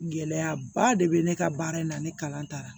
Gɛlɛyaba de bɛ ne ka baara in na ne kalan taara